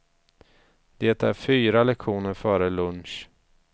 Det är fyra lektioner före lunch.